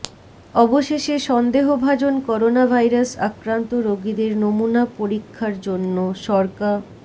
অবশেষে সন্দেহভাজন করোনাভাইরাস আক্রান্ত রোগীদের নমুনা পরীক্ষার জন্য সরকা